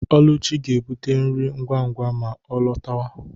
Oluchi ga-ebute nri ngwa ngwa ma ọ lọtawa ụlọ.